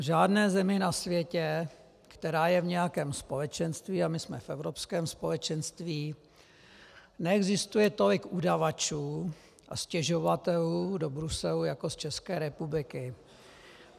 V žádné zemi na světě, která je v nějakém společenství, a my jsme v Evropském společenství, neexistuje tolik udavačů a stěžovatelů do Bruselu jako z České republiky.